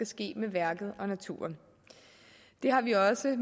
ske med værket og naturen det har vi også